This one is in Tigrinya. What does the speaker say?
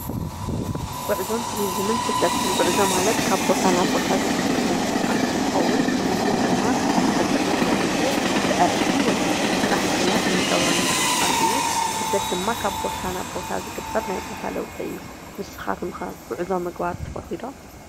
ጉዕዞን ቱሪዝምን ስደትን፡- ጉዕዞ ማለት ካብ ቦታ ናብ ቦታ ዝግበር ምንቅስቃስ እንትከውን ቱሪዝም ድማ ሕፅር ዝበለ ግዜ ብዕረፍቲ ወይ ድማ ብስራሕ ምክንያት እንገብሮ ምንቅስቃስ እዩ፡፡ ስደት ድማ ካብ ቦታ ናብ ቦታ ዝግበር ናይ ቦታ ለውጢ እዩ፡፡ ንስካትኮም ከ ጉዕዞ ምግባር ትፈትዉ ዶ?